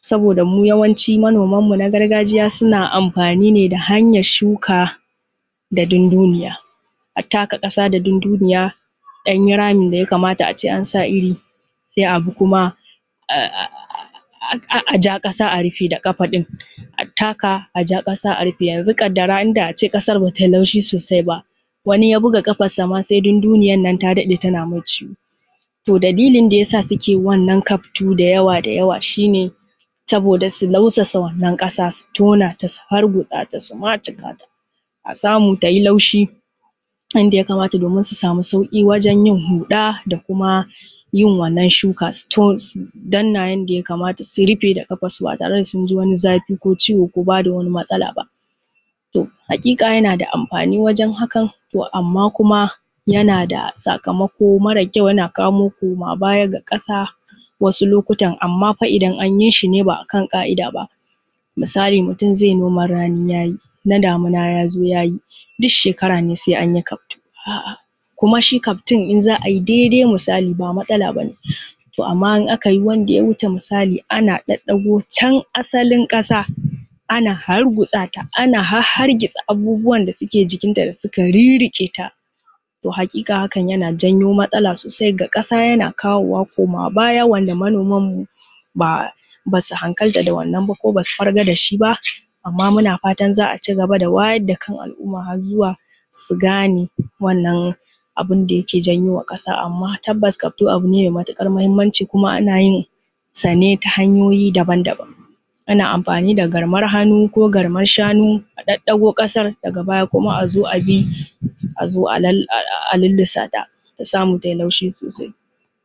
saboda mu yawanci manoman mu na gargajiya suna amfani ne da hanyar shuka da dunduniya, a taka ƙasa da dunduniya a ɗanyi ramin da ya kamata a ce an sa iri, sai a bi kuma a ja ƙasa a rufe da ƙafa ɗin, a taka a ja ƙasa a rufe. Yanzu ƙaddara inda a ce ƙasar ba ta yi laushi sosai ba, wani ya buga ƙafansa ma sai dunduniyar nan ta daɗe tana mai ciwo. To dalilin da yasa suke wannan kaftu dayawa-dayawa shi ne, saboda su nausasa wannan ƙasa, su tona ta, su hargutsa ta, su macikata, a samu ta yi laushi yanda ya kamata domin su samu sauƙi wajen yin huɗa da kuma yin wannan shuka. Su to, su dannan yanda ya kamata, su rufe da ƙafansu ba tare da sun ji wani zafi ko ciwo ko ba da wani matsala ba. To haƙiƙa yana da amfani wajen hakan, amma kuma yana da sakamako mara kyau, ya kawo koma baya ga ƙasa wasu lokutan, amma fa idan anyi shi ne ba a kan ƙa’ida ba. Misali idan mutum zai noman rani ya yi, na damina ya zo ya yi, duk shekara ne sai anyi kaftu, kuma shi kaftun za a yi dai dai misali ba matsala bane. To amma idan aka yi wanda ya wuce misali ana ɗaɗɗago can asalin ƙasa, ana hargutsa ta, ana hahhargitsa abubuwan da suke jikinta da suka rirriƙeta, to haƙiƙa hakan yana janyo matsala sosai ga ƙasa, yana kawo wa koma baya wanda manomanmu ba ba su hankalta da wannan ba ko ba su farga da shi ba. Amma muna fatan za a cigaba da wayar da kan al’umma har zuwa su gane wannan abin da yake janyowa ƙasa. Amma tabbas kaftu abu ne mai matƙar mahimmanci kuma ana yinsa ne ta hanyoyi daban-daban. Ana amfani da garmar hannu ko garmar shanu a ɗaɗɗago ƙasar daga baya kuma a zo a bi a zo a lall a lallasata ta samu tai laushi sosai.